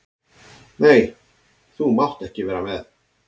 Nei, þú mátt ekki vera með.